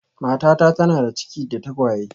Matata tana da ciki da tagwaye